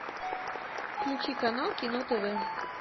включи канал кино тв